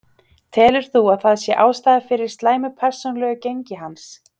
Telur þú að það sé ástæða fyrir slæmu persónulegu gengi hans?